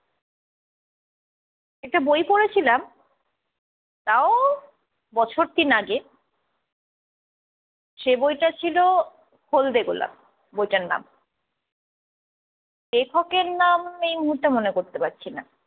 একটা বই পড়েছিলাম তাও বছর তিন আগে সে বইটা ছিল হলদে গোলাপ, বইটার নাম। লেখকের নাম এই মুহুর্তে মনে করতে পারছি না।